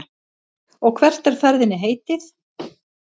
Og hvert er ferðinni heitið?